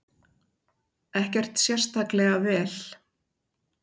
Ekkert sérstaklega vel.